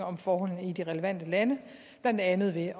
om forholdene i de relevante lande blandt andet ved